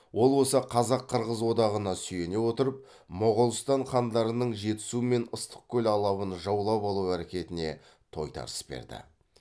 ол осы қазақ қырғыз одағына сүйене отырып моғолстан хандарының жетісу мен ыстықкөл алабын жаулап алу әрекетіне тойтарыс берді